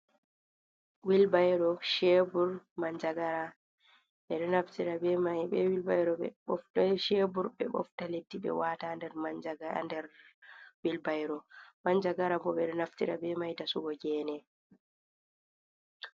Wilbairo, chebur, man jagara, ɓeɗo naftira be wilbairo shebur ɓe bofta letti ɓe wata ha nder manjaga der wilbairo, manjagara bo ɓe ɗo naftira be mai da sugo gene.